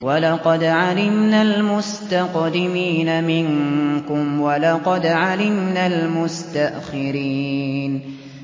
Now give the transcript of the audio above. وَلَقَدْ عَلِمْنَا الْمُسْتَقْدِمِينَ مِنكُمْ وَلَقَدْ عَلِمْنَا الْمُسْتَأْخِرِينَ